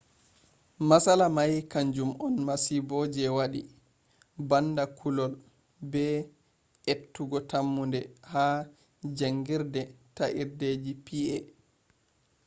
matsala may kanjum on masibo je wadi banda kullol be ettugo tammunde ha jangirde ta'irdeji pa